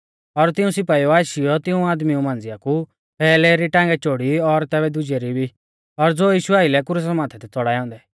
और तिऊं सिपाइउऐ आशीयौ तिंऊ आदमी मांझ़िया कु पैहलै री टांगै चोड़ी और तैबै दुजै री भी ज़ो यीशु आइलै थै क्रुसा माथै च़ौड़ाऐ औन्दै